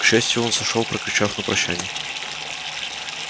к счастью он сошёл прокричав на прощание